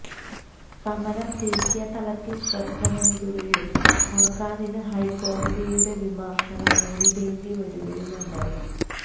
സമരം ദേശിയ തലത്തിൽ ശ്രദ്ധനേടുകയും സർക്കാരിന് ഹൈക്കോടതിയുടെ വിമർശനം നേരിടേണ്ടി വരികയുമുണ്ടായി